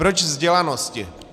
Proč vzdělanosti?